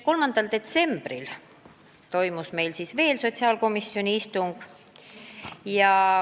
3. detsembril toimus meil veel üks sotsiaalkomisjoni istung.